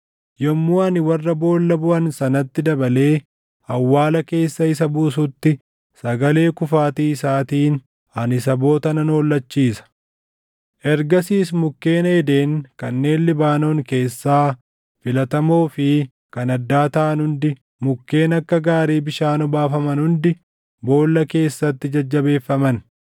Yommuu ani warra boolla buʼan sanatti dabalee awwaala keessa isa buusutti sagalee kufaatii isaatiin ani saboota nan hollachiisa. Ergasiis mukkeen Eeden kanneen Libaanoon keessaa filatamoo fi kan addaa taʼan hundi, mukkeen akka gaarii bishaan obaafaman hundi boolla keessatti jajjabeeffaman.